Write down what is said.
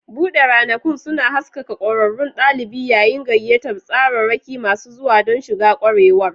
Buɗe ranakun suna haskaka ƙwararrun ɗalibi yayin gayyatar tsararraki masu zuwa don shiga ƙwarewar.